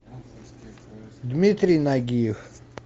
дмитрий нагиев